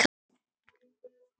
Magnús: Ekki kaupa nýjan hatt?